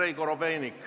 Andrei Korobeinik.